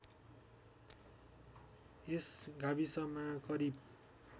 यस गाविसमा करिब